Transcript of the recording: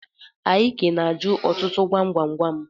Ik na-ajụ ọtụtụ gwam gwam gwam.